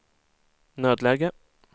nödläge